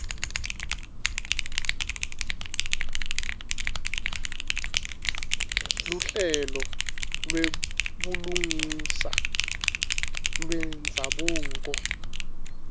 luhlelo lwebulungisa lwendzabuko